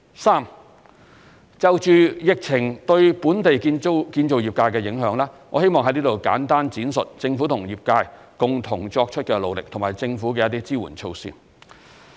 三就疫情對本地建造業界的影響，我希望在此簡單闡述政府和業界共同作出的努力，以及政府的一些支援措施。